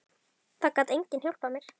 Það gat enginn hjálpað mér.